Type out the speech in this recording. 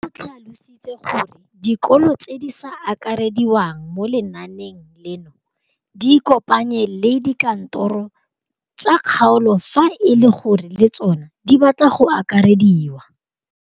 O tlhalositse gore dikolo tse di sa akarediwang mo lenaaneng leno di ikopanye le dikantoro tsa kgaolo fa e le gore le tsona di batla go akarediwa.